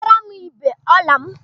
Butere m igbé ọla m!